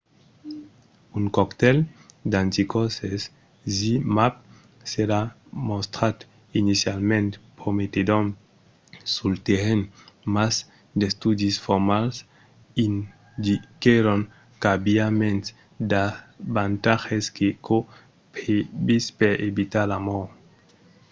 un coctèl d'anticòrses zmapp s'èra mostrat inicialament prometedor sul terrenh mas d'estudis formals indiquèron qu'aviá mens d'avantatges que çò previst per evitar la mòrt